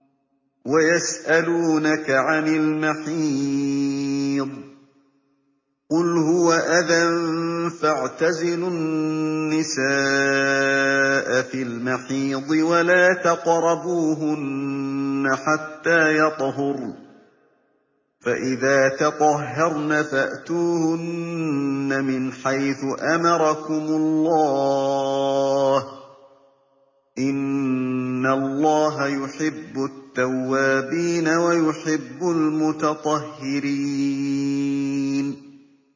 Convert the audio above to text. وَيَسْأَلُونَكَ عَنِ الْمَحِيضِ ۖ قُلْ هُوَ أَذًى فَاعْتَزِلُوا النِّسَاءَ فِي الْمَحِيضِ ۖ وَلَا تَقْرَبُوهُنَّ حَتَّىٰ يَطْهُرْنَ ۖ فَإِذَا تَطَهَّرْنَ فَأْتُوهُنَّ مِنْ حَيْثُ أَمَرَكُمُ اللَّهُ ۚ إِنَّ اللَّهَ يُحِبُّ التَّوَّابِينَ وَيُحِبُّ الْمُتَطَهِّرِينَ